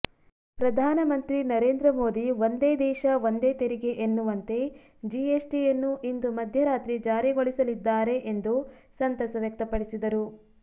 ಪ್ರಧಾನಮಂತ್ರಿ ನರೇಂದ್ರ ಮೋದಿ ಒಂದೇ ದೇಶ ಒಂದೇ ತೆರಿಗೆ ಎನ್ನುವಂತೆ ಜಿಎಸ್ಟಿಯನ್ನು ಇಂದು ಮಧ್ಯರಾತ್ರಿ ಜಾರಿಗೊಳಿಸಲಿದ್ದಾರೆ ಎಂದು ಸಂತಸ ವ್ಯಕ್ತಪಡಿಸಿದರು